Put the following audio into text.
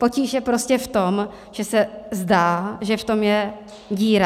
Potíž je prostě v tom, že se zdá, že v tom je díra.